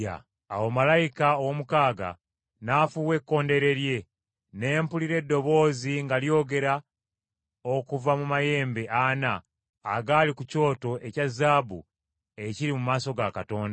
Awo malayika ow’omukaaga n’afuuwa ekkondeere lye, ne mpulira eddoboozi nga lyogera okuva mu mayembe ana agali ku kyoto ekya zaabu ekiri mu maaso ga Katonda,